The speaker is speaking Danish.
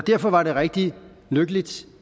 derfor var det rigtig lykkeligt